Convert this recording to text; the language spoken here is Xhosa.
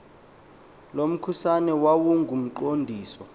lo mkhusane wawungumqondiso